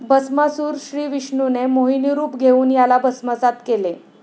भस्मासूरः श्रीविष्णूने मोहिनीरूप घेऊन याला भस्मसात केले.